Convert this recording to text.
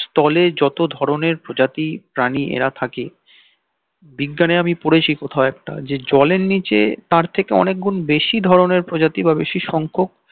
স্থলে যত ধরণের প্রজাতি প্রাণী এরা থাকে বিজ্ঞানে আমি পড়েছি কোথাও একটা যে জলের নিচে তার থেকে অনেক গুন্ বেশি ধরণের প্রজাতি বা বেশি সংখ্যক